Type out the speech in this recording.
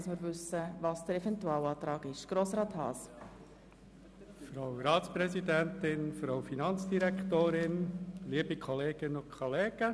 Der Antrag der FiKo-Minderheit betreffend Tarifsenkung ist unter Einbezug des Inhalts der soeben beschlossenen Detailbestimmungen als Eventualantrag gemäss Art. 63 Abs. 2 Kantonsverfassung zu beschliessen.